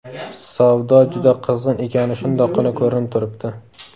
Savdo juda qizg‘in ekani shundoqqina ko‘rinib turibdi.